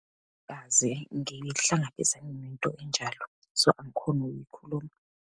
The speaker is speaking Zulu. ngihlangabezane nento enjalo, so angikhoni ukuyikhuluma.